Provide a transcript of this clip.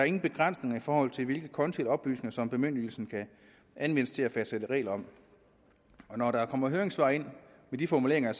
ingen begrænsninger i forhold til hvilke konti og oplysninger som bemyndigelsen kan anvendes til at fastsætte regler om når der kommer høringssvar ind med de formuleringer